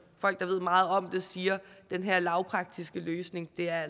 folk der ved meget om det siger virker at den her lavpraktiske løsning er